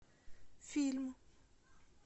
фильм